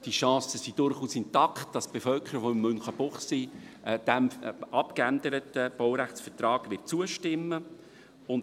Die Chancen sind aber durchaus intakt, dass die Bevölkerung von Münchenbuchsee dem abgeänderten Baurechtsvertrag zustimmen wird.